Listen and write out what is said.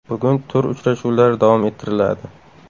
Bugun tur uchrashuvlari davom ettiriladi.